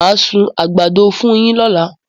Màá sun àgbàdo fún yín lọ́la